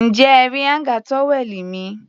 Ǹjẹ́ ẹ rí áńgà tówẹ́ẹ̀nù mi?